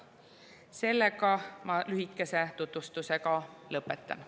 Sellega ma oma lühikese tutvustuse lõpetan.